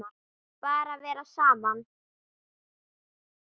Bara vera saman.